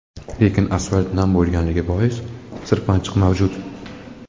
Lekin asfalt nam bo‘lganligi bois sirpanchiqlik mavjud.